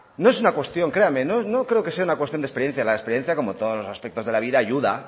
no es una cuestión créame no creo que sea una cuestión de experiencia la experiencia como todos los aspectos de la vida ayuda